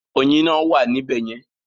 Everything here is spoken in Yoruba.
Ọyin náà wà ní bẹ̀yẹ̀ẹn?